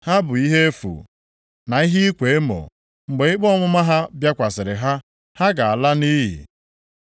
Ha bụ ihe efu, na ihe ịkwa emo, mgbe ikpe ọmụma ha bịakwasịrị ha, ha ga-ala nʼiyi.